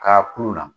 K'a kulu la